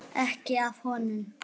Ekki af honum.